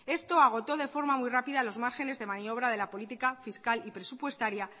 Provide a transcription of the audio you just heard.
esto agotó de forma muy rápida los márgenes de maniobra de la política fiscal y presupuestaria